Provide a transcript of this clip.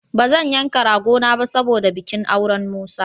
Ba zan yanka ragona ba saboda bikin auren Musa.